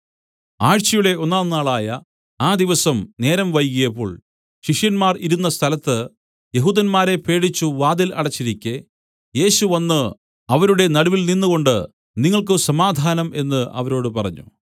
ആഴ്ചയുടെ ഒന്നാംനാളായ ആ ദിവസം നേരം വൈകിയപ്പോൾ ശിഷ്യന്മാർ ഇരുന്ന സ്ഥലത്ത് യെഹൂദന്മാരെ പേടിച്ചു വാതിൽ അടച്ചിരിക്കെ യേശു വന്നു അവരുടെ നടുവിൽ നിന്നുകൊണ്ടു നിങ്ങൾക്ക് സമാധാനം എന്നു അവരോട് പറഞ്ഞു